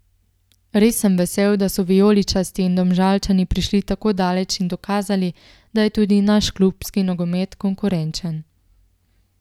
Res sem vesel, da so vijoličasti in Domžalčani prišli tako daleč in dokazali, da je tudi naš klubski nogomet konkurenčen.